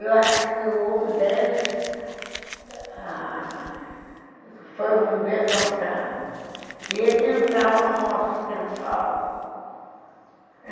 Eu acho que um deles foi viver com essa... E ele entrava no nosso quintal.